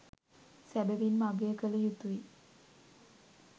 සැබවින්ම අගය කල යුතුයි.